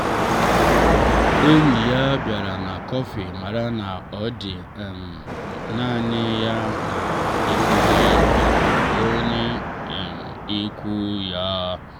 enyi ya bịara na kọfị mara na ọ dị um naanị ya na-enweghị um onye um ikwu ya.